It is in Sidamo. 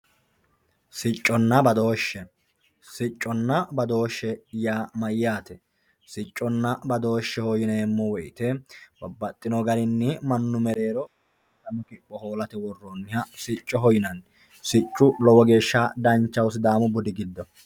sicconna badooshshe sicconna badooshshe yaa mayyate? sicconna badooshshe yinanni woyiite babbaxxino garinni mannu mereero kalaqamanno qarra hoolate horonsi'neemmoha sicconna badooshshe yinanni siccu lowo geya danchaho sidaamu budi giddo